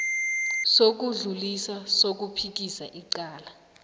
sokudlulisa sokuphikisa icala